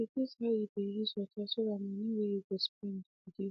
he reduce how he dey use water so tht moni way he spend go reduce